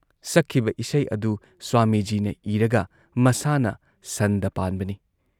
ꯁꯛꯈꯤꯕ ꯏꯁꯩ ꯑꯗꯨ ꯁ꯭ꯋꯥꯃꯤꯖꯤꯅ ꯏꯔꯒ ꯃꯁꯥꯅ ꯁꯟꯗ ꯄꯥꯟꯕꯅꯤ ꯫